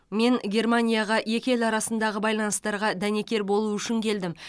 мен германияға екі ел арасындағы байланыстарға дәнекер болу үшін келдім